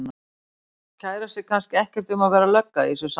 Kærir sig kannski ekkert um að vera lögga í þessu samhengi.